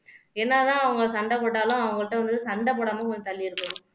என்னதான் அவங்க சண்டை போட்டாலும் அவங்கள்ட்ட வந்து சண்டை போடாம கொஞ்சம் தள்ளி இருக்கணும்